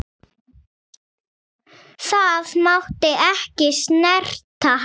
Það mátti ekki snerta hann.